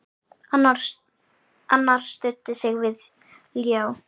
Annar studdi sig við ljá.